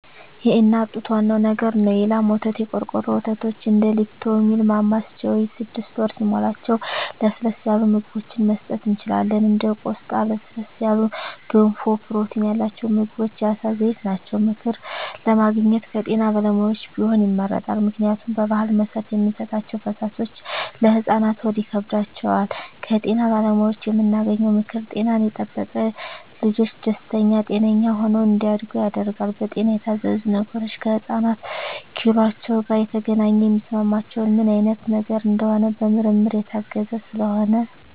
የእናት ጡት ዋናው ነገር ነው የላም ወተት , የቆርቆሮ ወተቶች እንደ ሊፕቶሚል ማማስ ቾይዥ ስድስት ወር ሲሞላቸው ለስለስ ያሉ ምግብችን መስጠት እንችላለን እንደ ቆስጣ ለስለስ ያሉ ገንፎ ፕሮቲን ያላቸው ምግቦች የአሳ ዘይት ናቸው። ምክር ለማግኘት ከጤና ባለሙያዎች ቢሆን ይመረጣል ምክንያቱም በባህል መሰረት የምንሰጣቸዉ ፈሳሾች ለህፃናት ሆድ ይከብዳቸዋል። ከጤና ባለሙያዎች የምናገኘው ምክር ጤናን የጠበቀ ልጅች ደስተኛ ጤነኛ ሆነው እንዳድጉ ያደርጋል። በጤና የታዘዙ ነገሮች ከህፃናት ኪሏቸው ጋር የተገናኘ የሚስማማቸው ምን አይነት ነገር እንደሆነ በምርመራ የታገዘ ስለሆነ